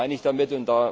Was meine ich damit?